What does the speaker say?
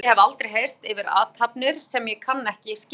Orð sem ég hef aldrei heyrt yfir athafnir sem ég kann ekki skil á.